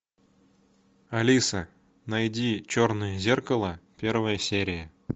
алиса найди черное зеркало первая серия